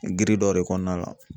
dɔ de kɔnɔna la